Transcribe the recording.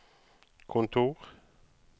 kontor